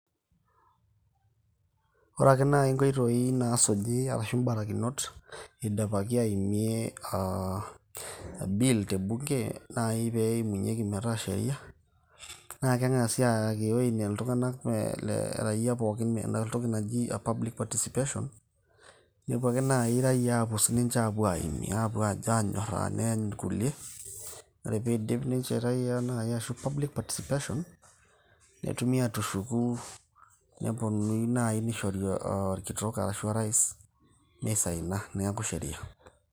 Ore ake naaji nkoitoi naasuji arashi imbarikinot idipaki aimie aa bill te bunge naai pee eimunyieki enaa sheria. Naa keng`asi ayakinyie iltung`anak raia pookin ena toki naji public participation. Nepuo ake naaji raia aakus ninche aapuo aimie aanyoraa neeny irkulie. Ore ake pee idip raia naaji aa public participation netumi aatushuku neponunui naaji neishori olkitok arashu o rais mi saina niaku sheria.